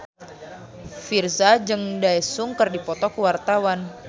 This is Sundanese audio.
Virzha jeung Daesung keur dipoto ku wartawan